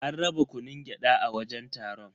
An raba kunun gyada a wajen taron.